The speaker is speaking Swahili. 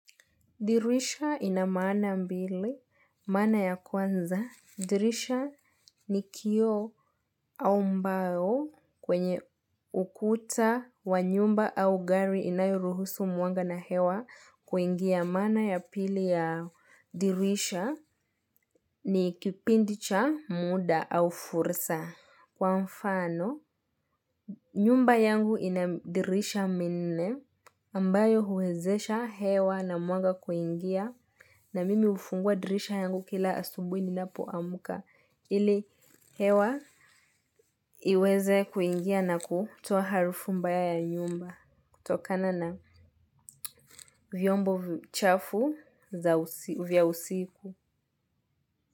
Dirisha ina maana mbili, maana ya kwanza. Dirisha ni kioo au mbao kwenye ukuta wa nyumba au gari inayoruhusu mwanga na hewa kuingia. Mana ya pili ya dirisha ni kipindi cha muda au furisa. Kwa mfano, nyumba yangu ina dirisha minne ambayo huezesha hewa na mwanga kuingia na mimi hufungua dirisha yangu kila asubuhi ninapoamka. Ili hewa iweze kuingia na kutoa harufu mbaya ya nyumba kutokana na vyombo chafu vya usiku.